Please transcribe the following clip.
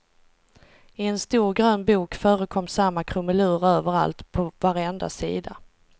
I en stor grön bok förekom samma krumelur överallt, på varenda sida.